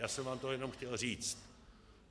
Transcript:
Já jsem vám to jenom chtěl říct.